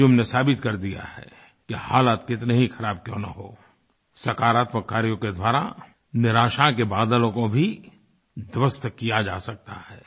अंजुम ने साबित कर दिया है कि हालात कितने ही ख़राब क्यों न हों सकारात्मक कार्यों के द्वारा निराशा के बादलों को भी ध्वस्त किया जा सकता है